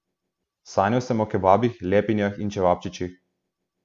Sanjal sem o kebabih, lepinjah in čevapčičih.